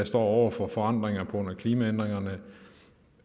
står over for forandringer på grund af klimaændringerne